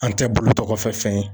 An tɛ bolo tɔgɔfɛ fɛn ye